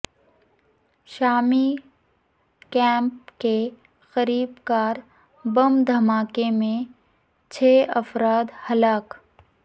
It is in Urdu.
شامی کیمپ کے قریب کار بم دھماکے میں چھ افراد ہلاک